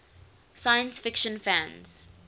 science fiction fans